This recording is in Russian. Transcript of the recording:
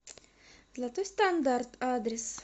золотой стандарт адрес